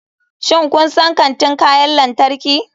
Shin kun san kantin kayan lantarki?